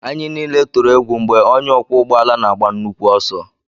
Anyị niile tụrụ egwu mgbe onye ọkwọ ụgbọala na-agba nnukwu ọsọ